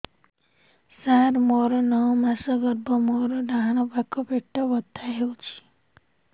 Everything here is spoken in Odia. ସାର ମୋର ନଅ ମାସ ଗର୍ଭ ମୋର ଡାହାଣ ପାଖ ପେଟ ବଥା ହେଉଛି